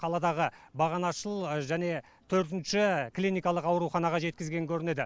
қаладағы бағанашыл және төртінші клиникалық ауруханаға жеткізген көрінеді